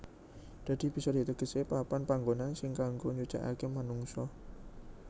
Dadi bisa ditegesi papan panngonan sing kanggo nyucèkake manungsa